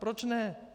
Proč ne.